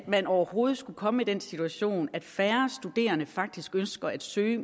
man overhovedet skulle komme i den situation at færre studerende faktisk ønsker at søge